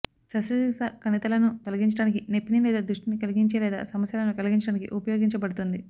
శస్త్రచికిత్స కణితులను తొలగించడానికి నొప్పిని లేదా దృష్టిని కలిగించే లేదా సమస్యలను కలిగించడానికి ఉపయోగించబడుతుంది